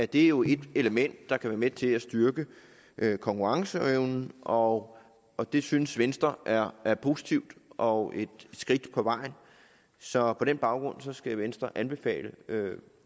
det jo et element der kan være med til at styrke konkurrenceevnen og og det synes venstre er er positivt og et skridt på vejen så på den baggrund skal venstre anbefale